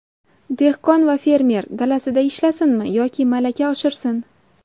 Dehqon va fermer dalasida ishlasinmi yoki malaka oshirsin?